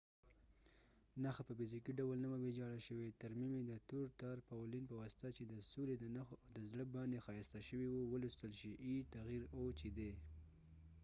نښه په فزیکې ډول نه وه ويجاړه شوي . ترمیم یې د تور تارپاولینblack tarpaulins په واسطه چې د سولی د نښو او د زړه باندي ښایسته شوي و . چې د o تغیر e ولوستل شي